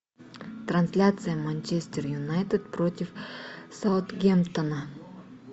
трансляция манчестер юнайтед против саутгемптона